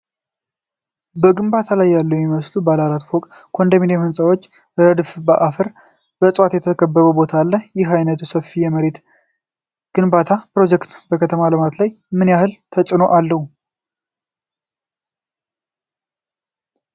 በግንባታ ላይ ያሉ የሚመስሉ ባለ አራት ፎቅ ኮንዶሚኒየም ሕንፃዎች ረድፍ በአፈርና በእፅዋት በተከበበ ቦታ አል፡፡ ይህ ዓይነቱ ሰፊ የመኖሪያ ቤት ግንባታ ፕሮጀክት በከተማ ልማት ላይ ምን ያህል ተፅዕኖ አለው?